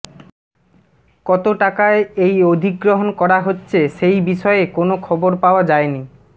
কত টাকায় এই অধিগ্রহণ করা হচ্ছে সেই বিষয়ে কোন খবর পাওয়া যায়নি